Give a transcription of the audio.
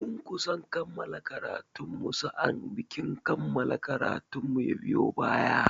Mun kusa kammala karatun mu sa'annan bikin kammala karatun mu ya biyo baya.